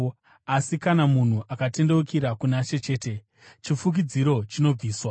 Asi kana munhu akatendeukira kuna She chete, chifukidziro chinobviswa.